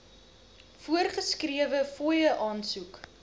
voorgeskrewe fooie aansoek